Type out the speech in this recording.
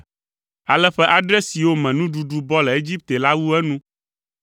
Ale ƒe adre siwo me nuɖuɖu bɔ le Egipte la wu enu,